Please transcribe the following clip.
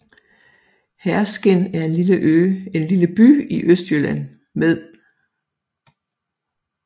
Herskind er en lille by i Østjylland med